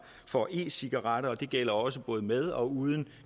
for e cigaretter det gælder også både med og uden